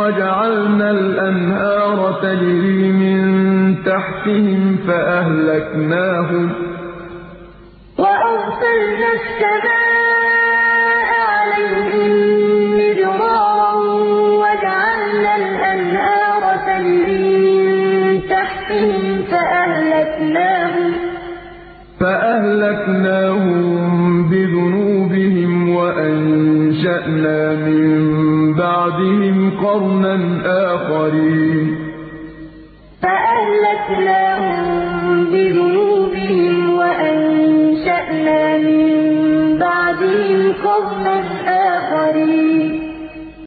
وَجَعَلْنَا الْأَنْهَارَ تَجْرِي مِن تَحْتِهِمْ فَأَهْلَكْنَاهُم بِذُنُوبِهِمْ وَأَنشَأْنَا مِن بَعْدِهِمْ قَرْنًا آخَرِينَ أَلَمْ يَرَوْا كَمْ أَهْلَكْنَا مِن قَبْلِهِم مِّن قَرْنٍ مَّكَّنَّاهُمْ فِي الْأَرْضِ مَا لَمْ نُمَكِّن لَّكُمْ وَأَرْسَلْنَا السَّمَاءَ عَلَيْهِم مِّدْرَارًا وَجَعَلْنَا الْأَنْهَارَ تَجْرِي مِن تَحْتِهِمْ فَأَهْلَكْنَاهُم بِذُنُوبِهِمْ وَأَنشَأْنَا مِن بَعْدِهِمْ قَرْنًا آخَرِينَ